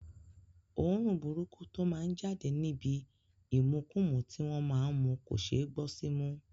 Òórùn burúkú tó má ń jáde níbi ìmukúmu tí wọ́n má ń mu kò ṣeé gbọ́ símú